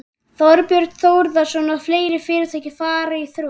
Þorbjörn Þórðarson: Og fleiri fyrirtæki fari í þrot?